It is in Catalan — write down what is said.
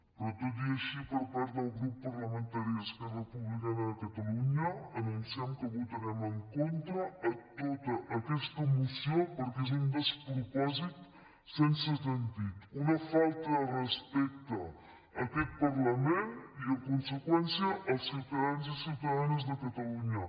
però tot i així per part del grup parlamentari d’esquerra republicana de catalunya anunciem que votarem en contra de tota aquesta moció perquè és un despropòsit sense sentit una falta de respecte a aquest parlament i en conseqüència als ciutadans i ciutadanes de catalunya